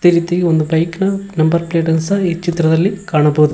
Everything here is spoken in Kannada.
ಅದೆ ರೀತಿಯಾಗಿ ಒಂದು ಬೈಕ್ ನ ನಂಬರ್ ಪ್ಲೇಟ್ ಅನ್ ಸಹ ಈ ಚಿತ್ರದಲ್ಲಿ ಕಾಣಬೋದು.